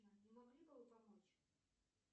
не могли бы вы помочь